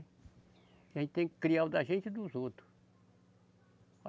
A gente tem que criar o da gente e dos outro.